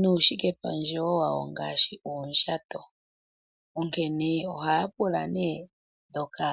nuushike pandje wawo ngaashi oondjato. Onkene ohaya pula ndhoka.